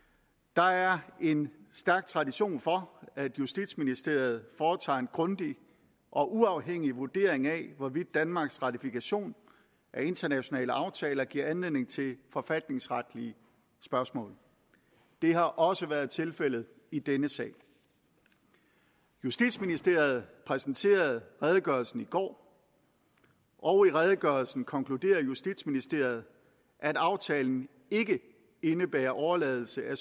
der er en stærk tradition for at justitsministeriet foretager en grundig og uafhængig vurdering af hvorvidt danmarks ratifikation af internationale aftaler giver anledning til forfatningsretlige spørgsmål det har også været tilfældet i denne sag justitsministeriet præsenterede redegørelsen i går og i redegørelsen konkluderer justitsministeriet at aftalen ikke indebærer overladelse af